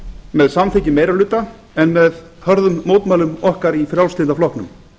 með samþykki meirihluta en hörðum mótmælum okkar í frjálslynda flokknum